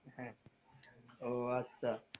হ্যাঁ ও আচ্ছা।